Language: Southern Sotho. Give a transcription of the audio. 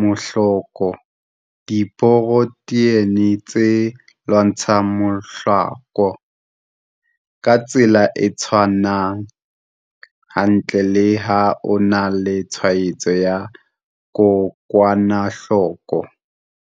mahloko diporotheine tse lwantshang mahloko ka tsela e tshwanang hantle le ha o na le tshwaetso ya kokwanahloko.